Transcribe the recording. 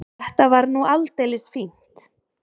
Þetta var nú aldeilis fínt.